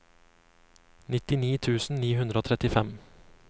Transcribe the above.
nittini tusen ni hundre og trettifem